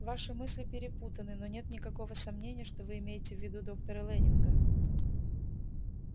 ваши мысли перепутаны но нет никакого сомнения что вы имеете в виду доктора лэннинга